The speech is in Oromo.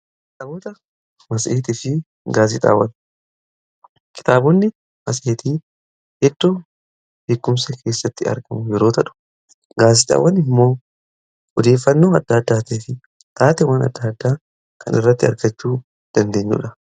kitaabota maseetii fi gaazexaawwan, kitaabonni matseetii eddoo beekkumsa keessatti argamu yeroo tahu gaazexaawwan immoo odeeffannoo adda addaatii fi taate wan adda addaa kan irratti argachuu dandeenyuu dha.